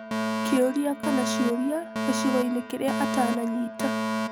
Kĩũria kana ciũria gĩcigoinĩ kĩrĩa atananyita.